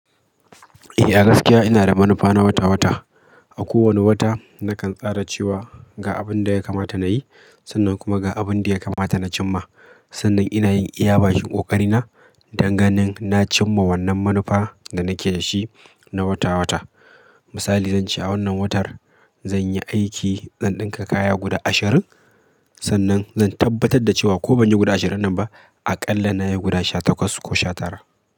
Eh, a gaskiya ina da manufa na wata-wata. A kowane wata nakan tsara cewa ga abin da ya kamata na yi sannan kuma ga abin da ya kamata na cim ma. Sannan ina yin iyaba bakin ƙoƙari na danganen na cim ma wannan manufa da nake da shi na wata-wata. Misali, zance a wannan watar zan yi aiki, zan ɗinka kaya guda ashirin. Sannan zan tabbatar da cewa ko ban yi guda ashirin ɗin ba, a ƙalla na yi guda sha takwas ko sha tara.